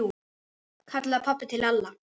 kallaði pabbi til Lalla.